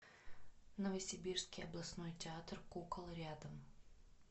новосибирский областной театр кукол рядом